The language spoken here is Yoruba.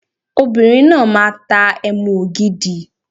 Obìnrin náà máa tá Ẹmu ògidì.